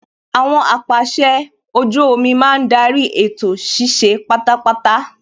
Àwọn apàsẹ ojú omi máa ń darí ètò ṣíṣe pátápátá